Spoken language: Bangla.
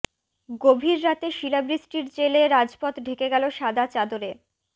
গভীর রাতে শিলাবৃষ্টির জেরে রাজপথ ঢেকে গেল সাদা চাদরে